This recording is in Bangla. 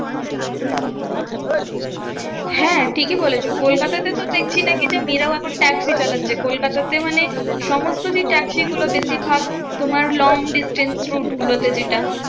হ্যাঁ ঠিকই বলেছো কলকাতা তে তো দেখছি নাকি যে, মেয়েরাও এখন ট্যাক্সি চালাচ্ছে। কোলকাতাতে মানে সমস্তরি ট্যাক্সি গুলো বেশিরভাগ তোমার long distance route গুলোতে যেটা